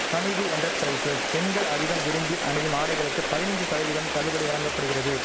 Hameed enterprises பெண்கள் அதிகம் விரும்பி அணியும் ஆடைகளுக்கு பதினஞ்சு சதவீதம் தள்ளுபடி வழங்க படுகிறது